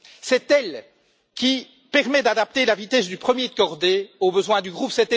C'est elle qui permet d'adapter la vitesse du premier de cordée aux besoins du groupe.